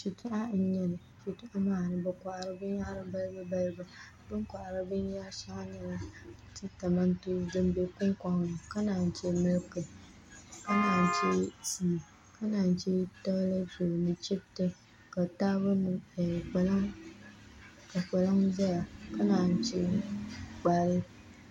Shitɔɣu n-nyɛ li shitɔɣu maa puuni bɛ kɔhiri binyɛra balibubalibu bɛ ni kɔhiri shɛli n-nyɛ tintɔmantɔsi din be kuŋkɔŋni ka naayi che miliki ka naan che tii ka naan che toolɛti roli chibiti ka kpalaŋ zaya ka naayi che